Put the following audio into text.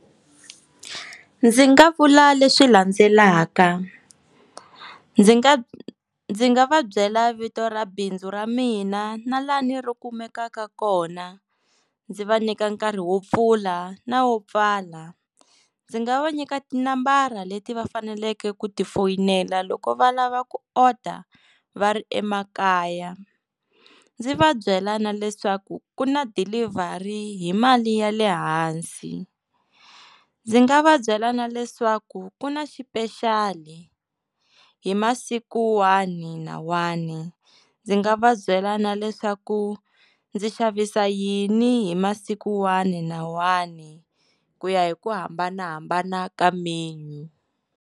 Ndzi nga vula leswi landzelaka, ndzi nga ndzi nga va byela vito ra bindzu ra mina na lani ri kumekaka kona ndzi va nyika nkarhi wo pfula na wo pfala ndzi nga va nyika tinambara leti va faneleke ku ti foyinela loko va lava ku order va ri emakaya, ndzi va byela na leswaku ku na delivery hi mali ya le hansi, ndzi nga va byela na leswaku ku na xipexali hi masiku wani na wani ndzi nga va byela na leswaku ndzi xavisa yini hi masiku wani na wani ku ya hi ku hambanahambana ka menu.